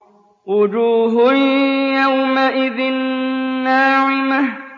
وُجُوهٌ يَوْمَئِذٍ نَّاعِمَةٌ